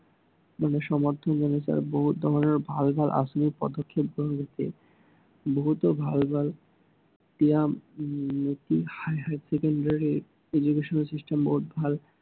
মানে সমৰ্থন জনাইছে আৰু বহুত তেওঁলোকে ভাল ভাল আঁচনি আনিছে। বহুত ভাল ভাল, কিবা um higher secondary education system বহুত ভাল